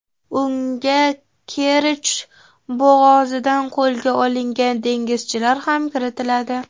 Unga Kerch bo‘g‘ozida qo‘lga olingan dengizchilar ham kiritiladi.